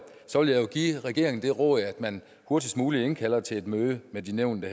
give regeringen det råd at man hurtigst muligt indkalder til et møde med de nævnte